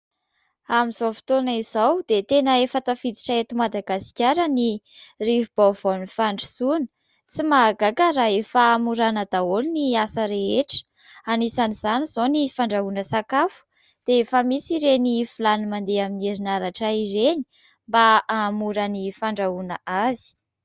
Amin'izao fotoana izao, dia tena efa tafiditra eto Madagasikara ny rivo-baovaon'ny fandrosoana. Tsy mahagaga raha efa hamoraina daholo ny asa rehetra : anisan' izany izao ny fandrahoana sakafo dia efa misy ireny vilany mandeha amin'ny herinaratra ireny mba hahamora ny fandrahoana azy.